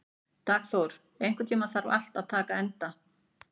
Dagþór, einhvern tímann þarf allt að taka enda.